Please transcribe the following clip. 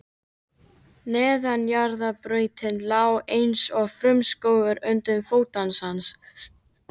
Neðanjarðarbrautin lá eins og frumskógur undir fótum hans.